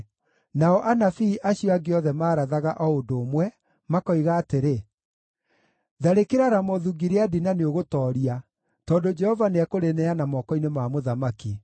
Nao anabii acio angĩ othe maarathaga o ũndũ ũmwe, makoiga atĩrĩ: “Tharĩkĩra Ramothu-Gileadi na nĩũgũtooria, tondũ Jehova nĩekũrĩneana moko-inĩ ma mũthamaki.”